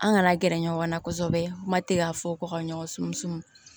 An kana gɛrɛ ɲɔgɔn na kosɛbɛ kuma tɛ ka fɔ ko ka ɲɔgɔn sumusumu